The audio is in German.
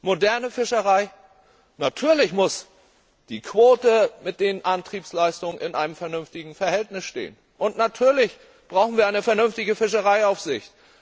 Moderne Fischerei Natürlich muss die Quote zu den Antriebsleistungen in einem vernünftigen Verhältnis stehen, und natürlich brauchen wir eine vernünftige Fischereiaufsicht.